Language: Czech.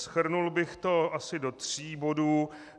Shrnul bych to asi do tří bodů.